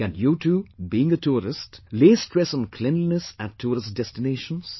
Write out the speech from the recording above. Can you too, being a tourist, lay stress on cleanliness at tourist destinations